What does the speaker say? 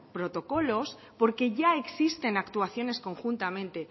protocolos porque ya existen actuaciones conjuntamente